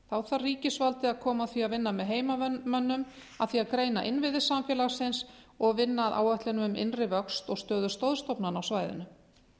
þá þarf ríkisvaldið að koma að því að vinna með heimamönnum að því að greina innviði samfélagsins og vinna að áætlunum um innri vöxt og stöðu stoðstofnana á svæðinu